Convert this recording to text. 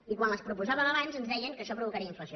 i quan les proposàvem abans ens deien que això provocaria inflació